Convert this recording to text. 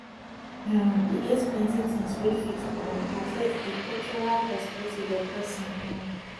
um e get plenty things wey fit um affect di cultural perspective of person um